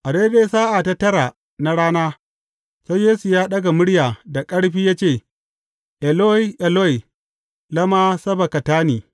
A daidai sa’a ta tara na rana, sai Yesu ya ɗaga murya da ƙarfi ya ce, Eloi, Eloi, lama sabaktani?